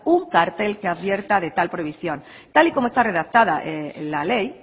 un cartel que advierta de tal prohibición tal y como está redactada la ley